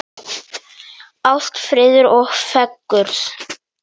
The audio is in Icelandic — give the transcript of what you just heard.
Ást, friður og fegurð.